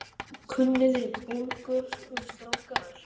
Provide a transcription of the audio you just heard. Kunniði Búlgörsku strákar?